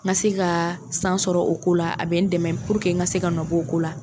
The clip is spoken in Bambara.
N ka se ka san sɔrɔ o ko la a bɛ n dɛmɛ puruke n ka se ka nɔbɔ o ko la.